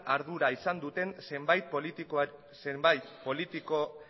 ardura izan duten zenbait